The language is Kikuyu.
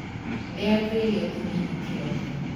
Rĩa tũirio tũnini kĩroko.